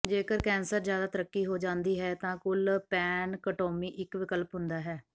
ਜੇਕਰ ਕੈਂਸਰ ਜ਼ਿਆਦਾ ਤਰੱਕੀ ਹੋ ਜਾਂਦੀ ਹੈ ਤਾਂ ਕੁੱਲ ਪੈਨਕਟੋਮੀ ਇੱਕ ਵਿਕਲਪ ਹੁੰਦਾ ਹੈ